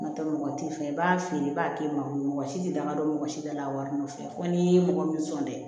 N'o tɛ mɔgɔ t'i fɛ i b'a feere i b'a kɛ maa si tɛ danga don mɔgɔ si bɛɛ la a wari nɔfɛ fɔ n'i ye mɔgɔ min sɔn dɛ